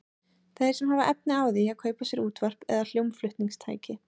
Þeir sem hafa efni á því að kaupa sér útvarp eða hljómflutningstæki.